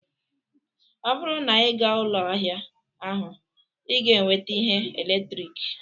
Ọ bụrụ na ịga ụlọ ahịa ahụ, ị ​​ga-enweta ihe eletrik